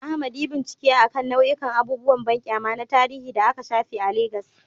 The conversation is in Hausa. Ahmad, yi bincike akan nau'ikan abubuwan banƙyama na tarihi da aka shafe a Legas.